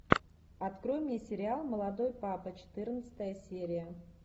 открой мне сериал молодой папа четырнадцатая серия